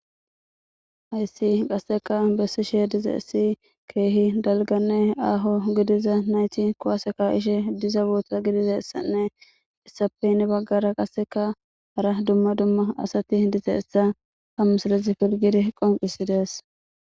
hayssi qasseka bessi shee diza issi keehi dalganne aaho gidiza nayti kowaaseka ishe diza boota gidiza essanne issapeynni baggara qasseka hara dumma dumma asati diza essa hammusilezi pirgiri qonqisidees